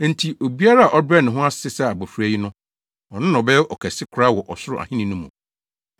Enti, obiara a ɔbɛbrɛ ne ho ase sɛ abofra yi no, ɔno na ɔbɛyɛ ɔkɛse koraa wɔ Ɔsoro Ahenni mu.